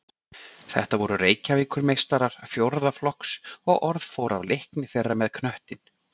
Þetta voru Reykjavíkurmeistarar fjórða flokks og orð fór af leikni þeirra með knöttinn.